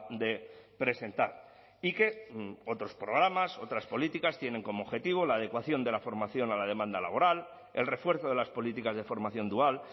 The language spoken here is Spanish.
de presentar y que otros programas otras políticas tienen como objetivo la adecuación de la formación a la demanda laboral el refuerzo de las políticas de formación dual